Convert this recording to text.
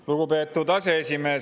Lugupeetud aseesimees!